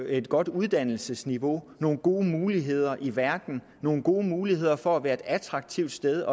et godt uddannelsesniveau nogle gode muligheder i verden nogle gode muligheder for at være et attraktivt sted